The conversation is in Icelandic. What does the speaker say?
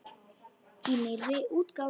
Í nýrri útgáfu!